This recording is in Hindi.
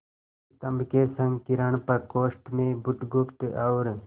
स्तंभ के संकीर्ण प्रकोष्ठ में बुधगुप्त और